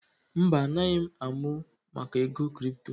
Mba, anaghị m amụ maka ego kripto